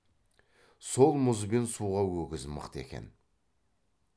сол мұз бен суға өгіз мықты екен